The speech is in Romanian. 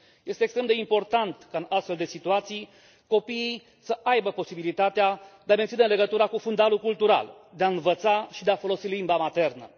Este extrem de important ca, în astfel de situații, copiii să aibă posibilitatea de a menține legătura cu fundalul cultural, de a învăța și de a folosi limba maternă.